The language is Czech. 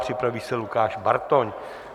Připraví se Lukáš Bartoň.